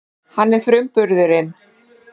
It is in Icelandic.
Hann er frumburðurinn.